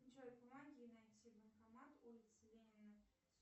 джой помоги найти банкомат улица ленина